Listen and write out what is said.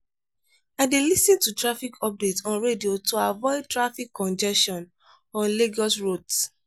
i dey lis ten to traffic updates on radio to avoid traffic congestion on lagos roads.